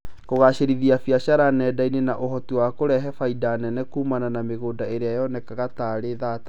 Kũgacĩrithia biacara nenda-inĩ na ũhoti wa kũrehe baita nene kuumana na mĩgũnda ĩrĩa yonekanaga tarĩ thata